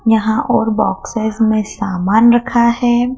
यहां और बॉक्सेस में सामान रखा है।